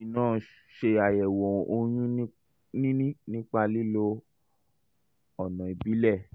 lẹ́yìn náà ṣe àyẹ̀wò oyún níní nípa lílo ọ̀nà ìbílẹ̀